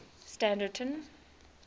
standerton